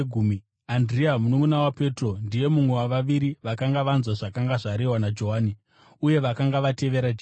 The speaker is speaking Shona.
Andirea mununʼuna waPetro, ndiye mumwe wavaviri vakanga vanzwa zvakanga zvarehwa naJohani uye vakanga vatevera Jesu.